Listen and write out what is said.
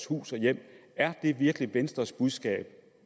hus og hjem er det virkelig venstres budskab